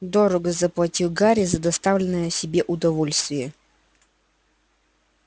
дорого заплатил гарри за доставленное себе удовольствие